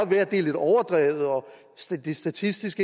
være at det er lidt overdrevet og at det statistisk